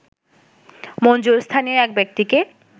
মঞ্জুর স্থানীয় এক ব্যক্তিকে